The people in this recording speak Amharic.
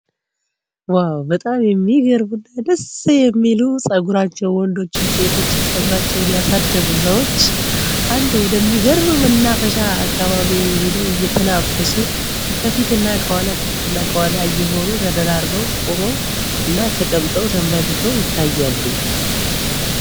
በጣም የሚገርሙ እና ደስ የሚሉ ጸጉራቸው ወንዶችን ሴቶችን ጸጉራቸውን ያሳደጉ ሰዎች አንድ ወደሚገርብም እና ፈሻ አካባቢ ሄደው እየተናፈሱ ከፊትና ከኋላ ከፊትእና ከኋላ የሆኑ ተደራርበው ቆመው እና ተቀምጠው ተንበክከው ይታያሉ፡፡